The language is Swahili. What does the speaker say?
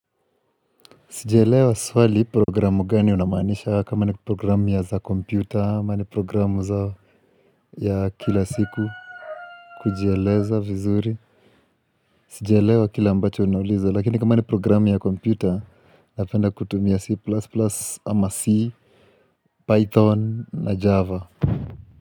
Sijaelewa swali programu gani unamaanisha kama ni programu za kompyuta ama ni programu ya kila siku kujieleza vizuri Sijiaelewa kile ambacho unauliza Lakini kama ni programu ya kompyuta Napenda kutumia C++ ama C, Python na Java.